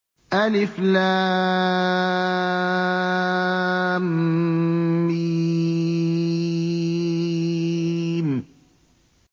الم